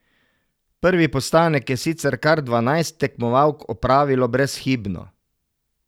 Prvi postanek je sicer kar dvanajst tekmovalk opravilo brezhibno.